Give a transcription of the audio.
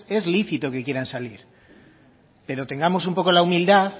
es lícito que quieran salir pero tengamos un poco la humildad